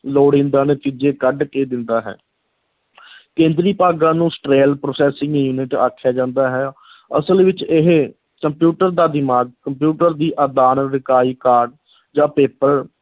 ਲੋੜੀਂਦਾ ਨਤੀਜੇ ਕੱਢ ਕੇ ਦਿੰਦਾ ਹੈ ਕੇਂਦਰੀ ਭਾਗਾਂ ਨੂੰ central processing unit ਆਖਿਆ ਜਾਂਦਾ ਹੈ ਅਸਲ ਵਿੱਚ ਇਹ ਕੰਪਿਊਟਰ ਦਾ ਦਿਮਾਗ, ਕੰਪਿਊਟਰ ਦੀ ਆਦਾਨ ਇਕਾਈ card ਜਾਂ paper